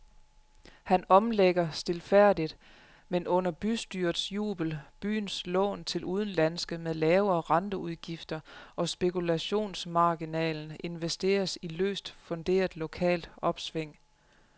Han omlægger stilfærdigt, men under bystyrets jubel, byens lån til udenlandske med lavere renteudgifter, og spekulationsmarginalen investeres i løst funderet lokalt opsving.